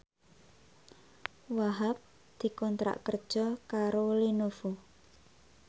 Wahhab dikontrak kerja karo Lenovo